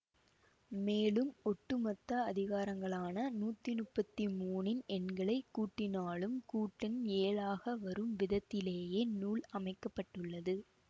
மேலும் ஒட்டு மொத்த அதிகாரங்களான நூத்தி முப்பத்தி மூனின் எண்களை கூட்டினாலும் கூட்டெண் ஏழாக வரும் விதத்திலேயே நூல் அமைக்க பட்டுள்ளது